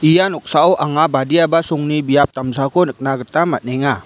ia noksao anga badiaba songni biap damsako nikna gita man·enga.